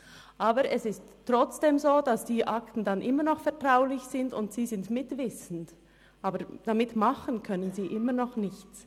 Trotzdem ist es aber so, dass die Akten immer noch vertraulich sind, und sie sind mitwissend, aber etwas damit machen können sie dennoch nicht.